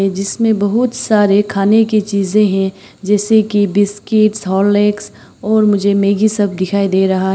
जिसमें बहुत सारे खाने की चीज हैं जैसे कि बिस्किट्स हॉर्लिक्स और मुझे मैगी सब दिखाई दे रहा--